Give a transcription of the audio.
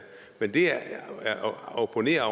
men det jeg opponerer